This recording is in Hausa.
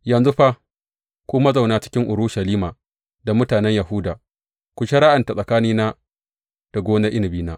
Yanzu fa ku mazauna cikin Urushalima da mutanen Yahuda, ku shari’anta tsakanina da gonar inabina.